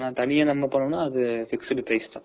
தனியா நம்ம போனோம்னா அது fixed price தான்